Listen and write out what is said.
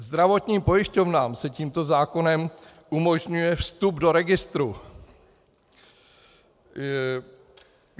Zdravotním pojišťovnám se tímto zákonem umožňuje vstup do registru.